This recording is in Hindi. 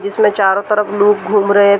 जिसमें चारो तरफ लोग घूम रहें हैं।